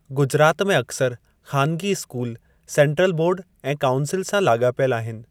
गुजरात में अक्सर ख़ानिगी स्कूल सेन्ट्रल बोर्डु ऐं काऊंसिल सां लाॻापियलु आहिनि।